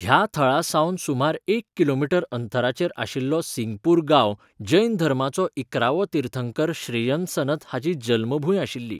ह्या थळा सावन सुमार एक किलोमीटर अंतराचेर आशिल्लो सिंगपूर गांव जैन धर्माचो इकरावो तीर्थंकर श्रेयंसनथ हाची जल्मभूंय आशिल्ली.